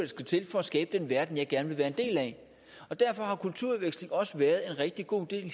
skal til for at skabe den verden jeg gerne vil være en del af og derfor har kulturudveksling også hidtil været en rigtig god idé